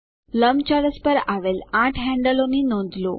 લંબચોરસ પર આવેલ આઠ હેન્ડલો હાથાઓ ની નોંધ લો